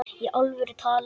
Í alvöru talað.